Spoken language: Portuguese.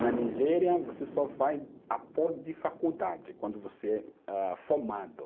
Na Nigéria, você só faz após de faculdade, quando você é ah formado.